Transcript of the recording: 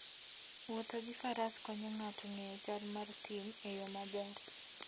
Wuotho gi Faras konyo ng'ato ng'eyo chal mar thim e yo maber.